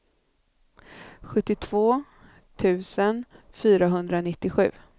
sjuttiotvå tusen fyrahundranittiosju